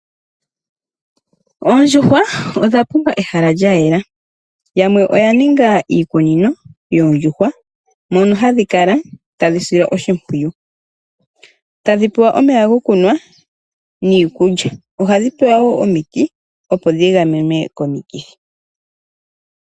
Oondjuhwa odhapumbwa pehala lya yela nawa naanafalama oya ninga iikunino yoondjuhwa mono haye dhi sile oshimpwiyu tadhi pewa omeya gokunwa niikulya. Ohadhi pewa woo omiti opo dhi gamenwe komikithi.